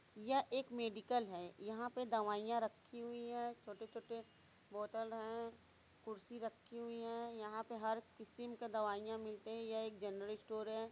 यह एक मेडिकल है। यहाँ पे दवाइयाँ रखी हुई हैं छोटे-छोटे बोतल हैं कुर्सी रखी हुई है यहां पे हर किसिम का दवाइयाँ मिलते हैं । यह एक जर्नल स्टोर है।